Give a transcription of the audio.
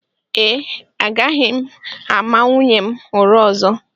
Ee, agaghị m ama nwunye m ụra ọzọ